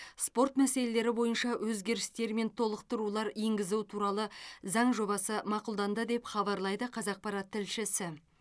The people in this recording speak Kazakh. спорт мәселелері бойынша өзгерістер мен толықтырулар енгізу туралы заң жобасы мақұлданды деп хабарлайды қазақпарат тілшісі